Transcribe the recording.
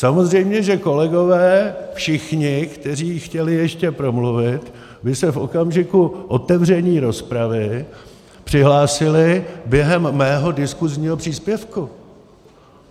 Samozřejmě že kolegové všichni, kteří chtěli ještě promluvit, by se v okamžiku otevření rozpravy přihlásili během mého diskusního příspěvku.